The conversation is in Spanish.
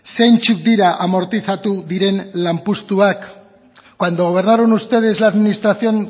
zeintzuk dira amortizatu diren lanpostuak cuando gobernaron ustedes la administración